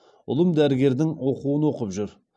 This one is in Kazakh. ұлым дәрігердің оқуын оқып жүр